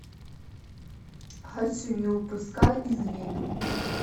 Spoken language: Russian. хочу не упускай из виду